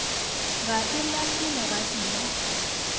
ga e lahle legapi la